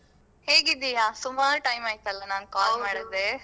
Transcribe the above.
ಹೇಗಿದ್ದೀಯಾ? ಸುಮಾರ್ time ಆಯ್ತಲ್ಲ ನಾನ್ call ಮಾಡದೆ.